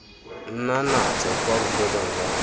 nna natso kwa bofelong jwa